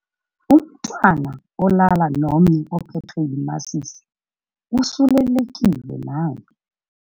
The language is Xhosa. Umntwana olala nomnye ophethwe yimasisi usulelekile naye.